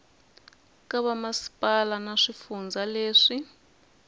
ka vamasipala na swifundza leswi